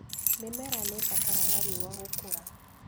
Mĩmera nĩibataraga riua gũkũra.